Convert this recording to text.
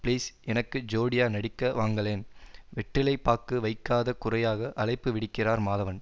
please எனக்கு ஜோடியா நடிக்க வாங்களேன் வெற்றிலை பாக்கு வைக்காத குறையாக அழைப்பு விடுக்கிறார் மாதவன்